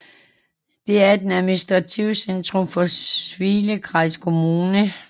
Den er det administrative centrum for Svilengrad Kommune